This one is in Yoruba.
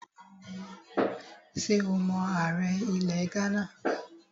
Ṣé o mọ ààrẹ ilẹ̀ Ghánà?